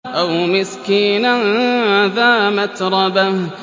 أَوْ مِسْكِينًا ذَا مَتْرَبَةٍ